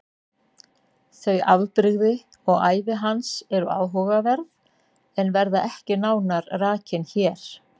Þau afbrigði og ævi hans eru áhugaverð en verða ekki nánar rakin hér.